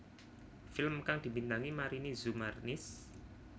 Film kang dibintangi Marini Zumarnis